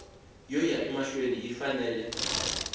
yo ya emahlweni yi fanele